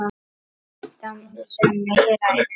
Það sem meira er.